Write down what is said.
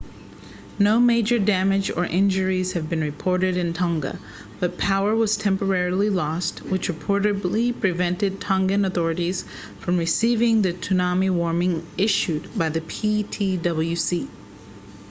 no major damage or injuries have been reported in tonga but power was temporarily lost which reportedly prevented tongan authorities from receiving the tsunami warning issued by the ptwc